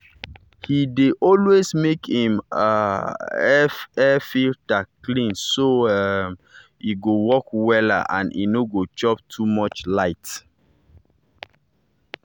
he dey always make him um air-filter clean so um e go work wella and e no go chop too much light.